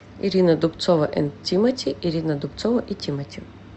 ирина дубцова энд тимати ирина дубцова и тимати